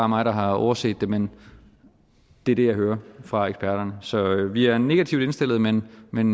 mig der har overset det men det er det jeg hører fra eksperterne så vi er negativt indstillet men men